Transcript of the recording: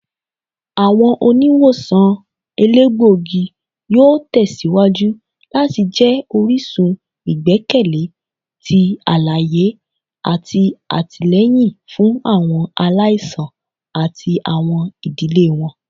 Awọn oniwosan elegbogi yoo tẹsiwaju lati jẹ orisun igbẹkẹle ti alaye ati atilẹyin fun awọn alaisan ati awọn idile wọn.